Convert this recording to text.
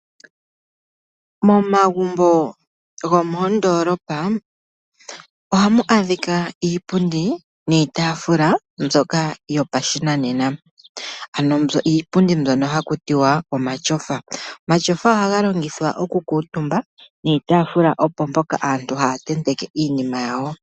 Momagumbo gomoondolopa ohamu adhika iipundi niitafula mbyoka yopashinanena ano iipundi mbyono hakutiwa omatyofa. Omatyofa ohaga longithwa oku kuntuumbwa niitafula opo mpoka aantu haya tenteke iinima yawo.